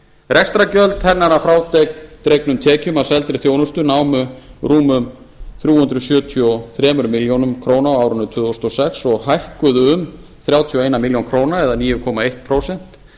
rekstrargjöld hennar að frádregnum tekjum af seldri þjónustu námu rúmum þrjú hundruð sjötíu og þrjár milljónir króna á árinu tvö þúsund og sex og hækkuðu um þrjátíu og eina milljón króna eða níu komma eitt prósent